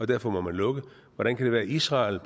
derfor må lukke hvordan kan det være at israel